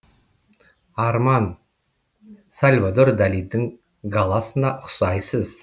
арман сальвадор далидың галасына ұқсайсыз